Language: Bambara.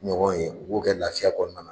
Ɲɔgɔn ye, u b'o kɛ lafiya kɔɔna na.